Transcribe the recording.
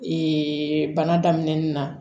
bana daminɛnin na